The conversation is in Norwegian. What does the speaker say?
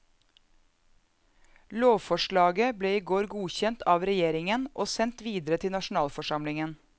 Lovforslaget ble i går godkjent av regjeringen og sendt videre til nasjonalforsamlingen.